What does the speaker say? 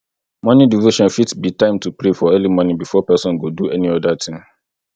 morning devotion fit be time to pray for early morning before person go do any oda thing